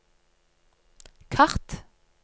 kart